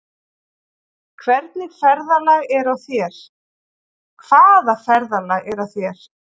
Hvaða ferðalag er á þér?